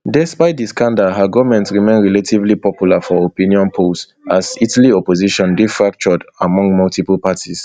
despite di scandal her goment remain relatively popular for opinion polls as italy opposition dey fractured among multiple parties